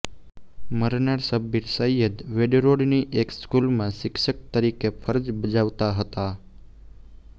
મરનાર શબ્બીર સૈયદ વેડરોડની એક સ્કૂલમાં શિક્ષક તરીકે ફરજ બજાવતા હતા